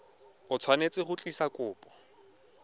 o tshwanetse go tlisa kopo